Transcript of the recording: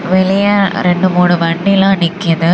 வெளியே ரெண்டு மூணு வண்டில நிக்குது.